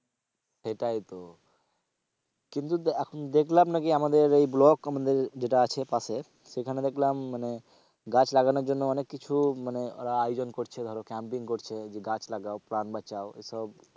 সেটাই তো কিন্তু এখন দেখলাম নাকি আমাদের এই block আমাদের যেটা আছে পাশে সেখানে দেখলাম মানে গাছ লাগানোর জন্য অনেক কিছু মানে ওরা আয়োজন করছে ধরো campaign করছে যে গাছ লাগায় প্রাণ বাঁচাও এসব,